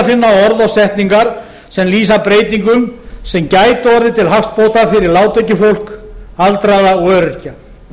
finna orð og setningar sem lýsa breytingum sem gætu orðið til hagsbóta fyrir lágtekjufólk aldraða og öryrkja